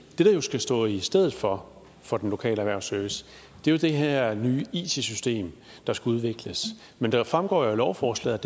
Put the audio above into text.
det der jo skal stå i stedet for for den lokale erhvervsservice er det her nye it system der skal udvikles men det fremgår af lovforslaget